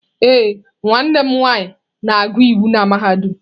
Ee, nwanne m nwanyị na-agụ iwu n'mahadum.